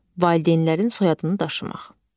Valideynlərin soyadını daşımaq.